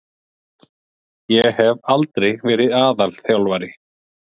Ég hef aldrei verið aðalþjálfari.